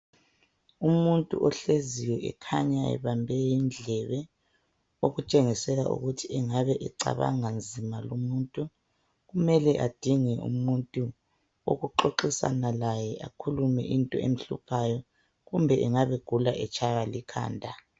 Umuntu ohleziyo ekhanya ebembe indlebe okutshengisela ukuthi engabe cabanga nzima lumuntu kumele andinge umuntu wokuxoxisana laye akhulume into emhluphayo kumbe engabe egula etshawa likhanda.